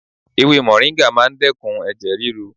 Ewé mòríńgà máa ń dẹ́kun ẹ̀jẹ̀ ríru.